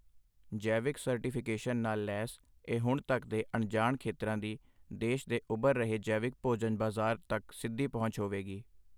ਜੈਵਿਕ ਸਰਟੀਫਿਕੇਟਸ਼ਨ ਨਾਲ ਲੈਸ ਇਹ ਹੁਣ ਤੱਕ ਦੇ ਅਣਜਾਣ ਖੇਤਰਾਂ ਦੀ ਦੇਸ਼ ਦੇ ਉਭਰ ਰਹੇ ਜੈਵਿਕ ਭੋਜਨ ਬਾਜ਼ਾਰ ਤੱਕ ਸਿੱਧੀ ਪਹੁੰਚ ਹੋਵੇਗੀ।